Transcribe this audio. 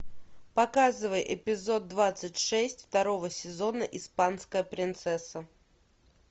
показывай эпизод двадцать шесть второго сезона испанская принцесса